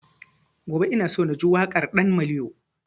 Gobe ina so na ji waƙar ɗan maliyo